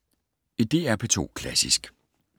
DR P2 Klassisk